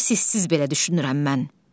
Bunu siz siz belə düşünürəm mən.